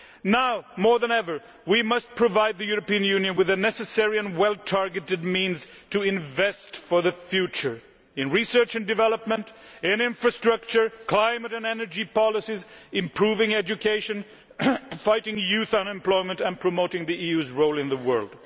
Now, more than ever, we must provide the European Union with the necessary and well targeted means to invest for the future in research and development, in infrastructure, climate and energy policies, improving education, fighting youth unemployment and promoting the EU's role in the world.